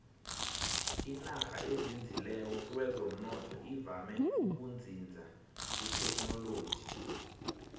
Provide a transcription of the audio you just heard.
inarha ezinzileko kwezomnotho ivame ukuzinza kuthekhinoloji